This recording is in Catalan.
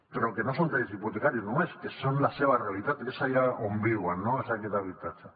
però que no són crèdits hipotecaris només que són la seva realitat i que és allà on viuen no és aquest habitatge